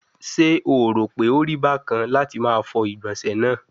Se o ro pe ori bakan lati ma fọ igbonse naa